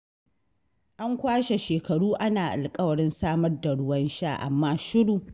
An kwashe shekaru ana alƙawarin samar da ruwan sha, amma shiru.